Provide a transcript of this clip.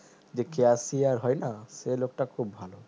যে cashier হয় না সে লোকটা খুব ভালো